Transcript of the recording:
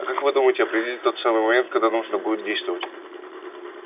а как вы думаете определить тот самый момент когда нужно будет действовать